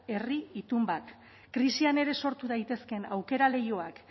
herri itun bat krisian ere sortu daitezkeen aukera leihoak